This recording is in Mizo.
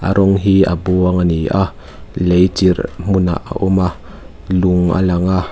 an rawng hi a buang ani a lei chirh hmun ah a awm a lung a lang a.